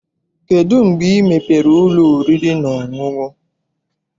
Kedụ mgbe ị mepere ụlọ oriri na ọṅụṅụ?